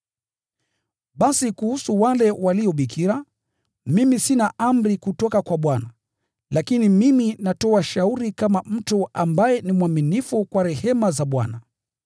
Basi, kuhusu wale walio bikira, mimi sina amri kutoka kwa Bwana, lakini mimi natoa shauri kama mtu ambaye ni mwaminifu kwa rehema za Bwana.